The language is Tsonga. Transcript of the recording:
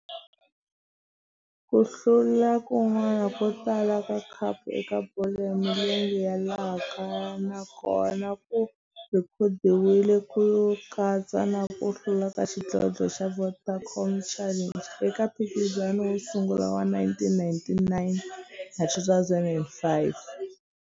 Ku hlula kun'wana ko tala ka khapu eka bolo ya milenge ya laha kaya na kona ku rhekhodiwile, ku katsa na ku hlula ka xidlodlo xa Vodacom Challenge eka mphikizano wo sungula wa 1999 na 2005.